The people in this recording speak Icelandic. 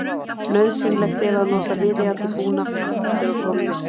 Nauðsynlegt er að nota viðeigandi búnað þegar horft er á sólmyrkva.